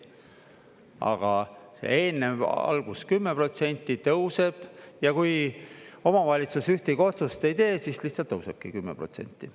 Aga see eelnev algus – 10% tõuseb – ja kui omavalitsus ühtegi otsust ei tee, siis lihtsalt tõusebki 10%.